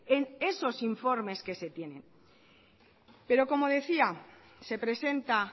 en esos informes que se tiene pero como decía se presenta